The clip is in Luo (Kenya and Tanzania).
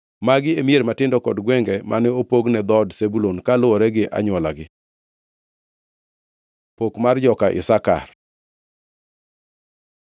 Magi e mier matindo kod gwenge mane opog ne dhood Zebulun kaluwore gi anywolagi. Pok mar joka Isakar